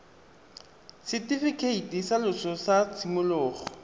setifikeiti sa loso sa tshimologo